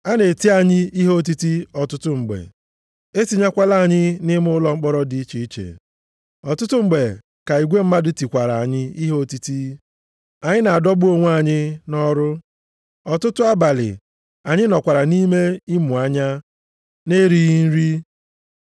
A na-eti anyị ihe otiti ọtụtụ mgbe. E tinyekwala anyị nʼime ụlọ mkpọrọ dị iche iche. Ọtụtụ mgbe ka igwe mmadụ tikwara anyị ihe otiti. Anyị na-adọgbu onwe anyị nʼọrụ. Ọtụtụ abalị anyị nọkwara nʼime ịmụ anya na-erighị nri,